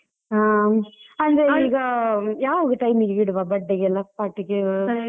ಹಾ ಈಗ, ಯಾವಾಗ time ಗೆ ಇಡುವ birthday ಗೆಲ್ಲ party ಗೆ ?